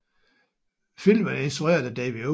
Filmen er instrueret af David O